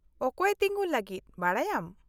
-ᱚᱠᱚᱭᱮ ᱛᱤᱜᱩᱱ ᱞᱟᱹᱜᱤᱫ ᱵᱟᱰᱟᱭᱟᱢ ?